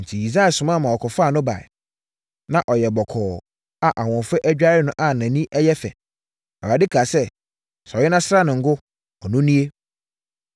Enti, Yisai soma ma wɔkɔfaa no baeɛ. Na ɔyɛ bɔkɔɔ a ahoɔfɛ adware no na nʼani yɛ fɛ. Awurade kaa sɛ, “Sɔre na sra no ngo. Ɔno nie.”